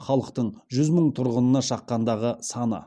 халықтың жүз мың тұрғынына шаққандағы саны